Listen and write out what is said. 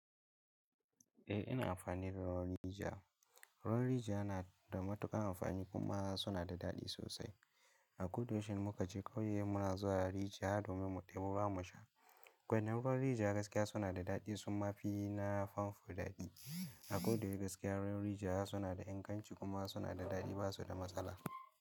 Eh ina amfani da ruwan rijiya. Ruwan rijiya yana da matuƙan amfani kuma suna da daɗi sosai. A koda yaushe in muka je ƙauye muna zuwa rijiya domin mu ɗebo ruwa mu sha. Gwanin ruwan rijiya gaskiya suna da daɗi summa fi na famfo daɗi. A koda yaushe gaskiya ruwan rijiya suna da inganci kuma suna da daɗi, ba su da matsala.